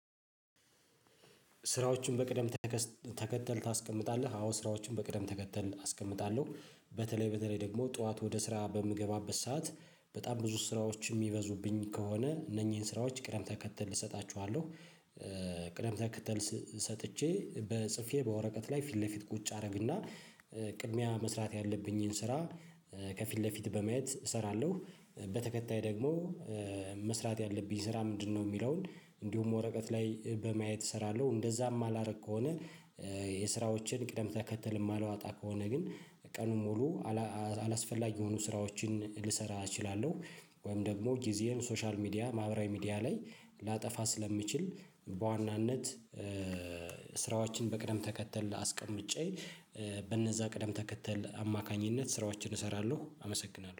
ስራዎቹን በቅደም ተከተል ታስቀምጣለህ? አዎ ስራዎችን በቅደም ተከተል አስቀምጣለሁ። በተለይ በተለይ ደግሞ ጠዋት ወደ ስራ በምገባበት ሰዓት በጣም ብዙ ስራዎች የሚበዙብኝ ከሆነ እነኚህን ስራዎች ቅደም ተከተል እሰጣቸዋለሁ ቅደም ተከተል ሰጥቼ በ ጽፌ በወረቀት ላይ ፊት ለፊት ቁጭ አደርግና ቅድሚያ መስራት ያለብኝን ስራ ከፊት ለፊት በማየት እሰራለሁ። በተከታይ ደግሞ መስራት ያለብኝ ስራ ምንድን ነው ሚለውን እንዲሁም ወረቀት ላይ በማየት እሰራለሁ እንደዛ ማላደርግ ከሆነ። የስራዎቼን ቅደም ተከተል ማላወጣ ከሆነ ግን ቀኑን ሙሉ አላ አላስፈላጊ የሆኑ ስራዎችን ልሰራ እችላለሁ። ወይም ደግሞ ጊዜየን ሶሻል ሚዲያ ማህበራዊ ሚድያ ላይ ላጠፋ ስለምችል። በዋናነት ስራዎችን በቅደም ተከተል አስቀምጬ በነዛ ቅደም ተከተል አማካኝነት ስራዎችን እሰራለሁ። አመሰግናለሁ